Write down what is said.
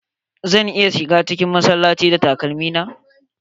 Zan iya shiga cikin masallaci da takalmi na?